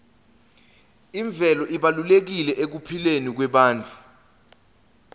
imvelo ibalulekile ekuphileni kwebantfu